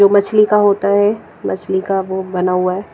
जो मछली का होता है मछली का वो बना हुआ है।